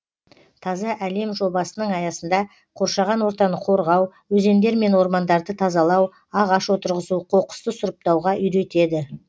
таза әлем жобасының аясында қоршаған ортаны қорғау өзендер мен ормандарды тазалау ағаш отырғызу қоқысты сұрыптауға үйретеді